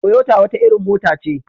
Toyota wata irin mota ce.